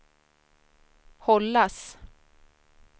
hållas